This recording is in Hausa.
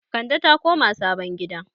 Kande ta koma sabon gida